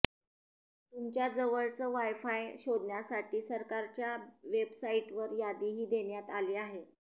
तुमच्या जवळचं वाय़फाय शोधण्यासाठी सरकारच्या वेबसाईटवर यादीही देण्यात आली आहे